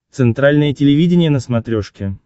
центральное телевидение на смотрешке